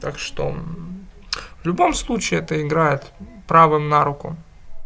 так что в любом случае это играет правым на руку